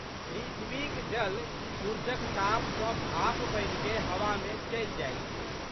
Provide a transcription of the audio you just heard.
पृथ्वीक जल सूरुजक ताप सँ भाप बनिकए हवामे चलि जाइत छै।